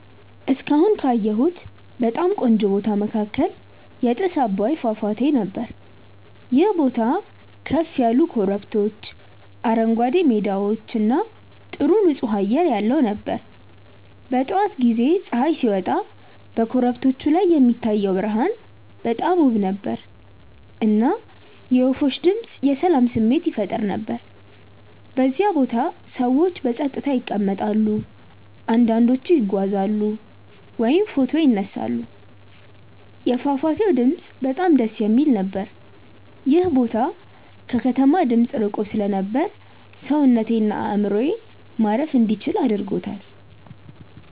እስካሁን ካየሁት በጣም ቆንጆ ቦታ መካከል የጥስ አባይ ፏፏቴ ነበር። ይህ ቦታ ከፍ ያሉ ኮረብቶች፣ አረንጓዴ ሜዳዎች እና ጥሩ ንፁህ አየር ያለው ነበር። በጠዋት ጊዜ ፀሐይ ሲወጣ በኮረብቶቹ ላይ የሚታየው ብርሃን በጣም ውብ ነበር፣ እና የወፎች ድምፅ የሰላም ስሜት ይፈጥር ነበር። በዚያ ቦታ ሰዎች በጸጥታ ይቀመጣሉ፣ አንዳንዶቹ ይጓዛሉ ወይም ፎቶ ይነሳሉ። የፏፏቴው ድምፅ በጣም ደስ የሚል ነበር። ይህ ቦታ ከከተማ ድምፅ ርቆ ስለነበር ሰውነቴን እና አእምሮዬን ማረፍ እንዲችል አደረገኝ።